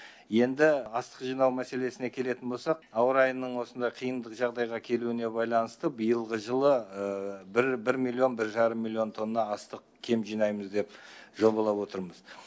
енді астық жинау мәселесіне келетін болсақ ауа райының осындай қиындық жағдайға келуіне байланыста биылғы жылы бір бір миллион бір жарым миллион тонна астық кем жинаймыз деп жобалап отырмыз